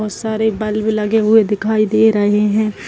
बहुत सारे बल्ब लगे हुए दिखाई दे रहें हैं।